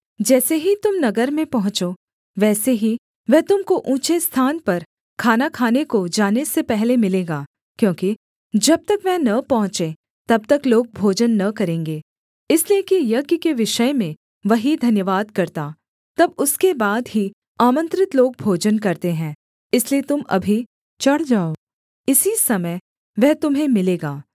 जैसे ही तुम नगर में पहुँचो वैसे ही वह तुम को ऊँचे स्थान पर खाना खाने को जाने से पहले मिलेगा क्योंकि जब तक वह न पहुँचे तब तक लोग भोजन न करेंगे इसलिए कि यज्ञ के विषय में वही धन्यवाद करता तब उसके बाद ही आमन्त्रित लोग भोजन करते हैं इसलिए तुम अभी चढ़ जाओ इसी समय वह तुम्हें मिलेगा